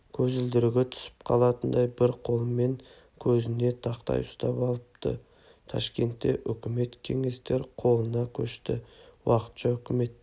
көзілдірігі түсіп қалатындай бір қолымен көзіне тақай ұстап алыпты ташкентте өкімет кеңестер қолына көшті уақытша үкімет